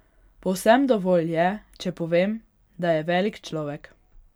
Povsem dovolj je, če povem, da je velik človek.